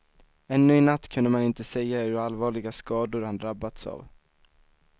Ännu i natt kunde man inte säga hur allvarliga skador han drabbats av.